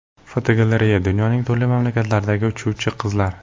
Fotogalereya: Dunyoning turli mamlakatlaridagi uchuvchi qizlar.